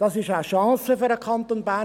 Es ist eine Chance für den Kanton Bern;